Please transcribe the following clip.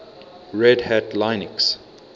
red hat linux